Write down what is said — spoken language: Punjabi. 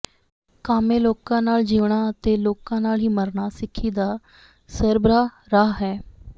ਕਾਮੇ ਲੋਕਾਂ ਨਾਲ ਜਿਉਣਾ ਅਤੇ ਲੋਕਾਂ ਨਾਲ ਹੀ ਮਰਨਾ ਸਿੱਖੀ ਦਾ ਸਰਬਰਾਹ ਰਾਹ ਹੈ